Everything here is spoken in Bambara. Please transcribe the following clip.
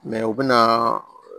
u bɛ na